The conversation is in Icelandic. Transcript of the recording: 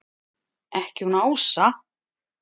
Ekki hún Ása!